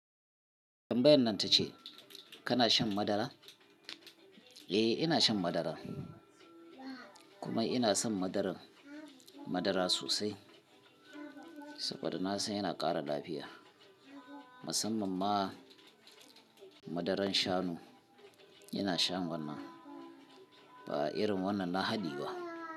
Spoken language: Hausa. Tambayan nan ta ce kana shan madara? Eh ina shan madara kuma ina son madara sosai saboda na san yana ƙara lafiya. Musamman ma madaran shanu ina shan wannan ba irin wannan na haɗi ba.